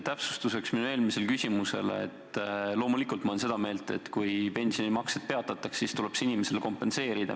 Täpsustuseks minu eelmisele küsimusele ma kinnitan, et loomulikult ma olen seda meelt, et kui pensionimaksed peatatakse, siis tuleb see inimesele kompenseerida.